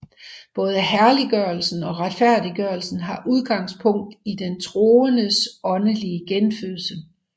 Både helliggørelsen og retfærdiggørelsen har udgangspunkt i den troendes åndelige genfødsel